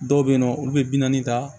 Dɔw bɛ yen nɔ olu bɛ bi naani ta